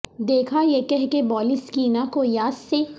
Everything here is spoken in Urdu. دیکھا یہ کہہ کے بالی سکینہ کو یاس سے